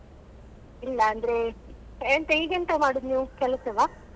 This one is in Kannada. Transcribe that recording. ಇಲ್ಲ ಅಂದ್ರೆ ಎಂತ ಈಗೆಂತ ಮಾಡುದು ನೀವು ಕೆಲಸವಾ?